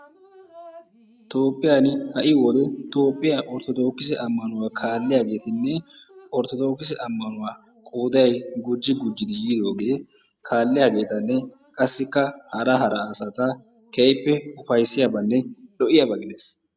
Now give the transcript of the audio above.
Toophphiyaani ha"i wode toophphiya ortodookise ammanuwa kaalliyageetinne ortodookise ammanuwa qooday gujji gujjidi yiidoogee kaalliyageetanne qassikka hara hara asata keehippe upayissiyabanne lo'iyaaba gides.